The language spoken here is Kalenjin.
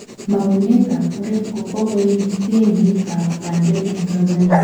Mangunet ab murek ko kokoim temiik ab pandeek en Tanzania